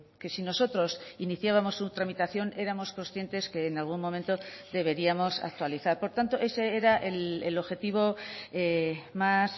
que si nosotros iniciábamos su tramitación éramos conscientes que en algún momento deberíamos actualizar por tanto ese era el objetivo más